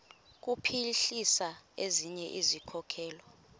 kuphuhlisa ezinye izikhokelo